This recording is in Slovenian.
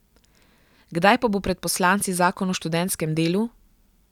Kdaj pa bo pred poslanci zakon o študentskem delu?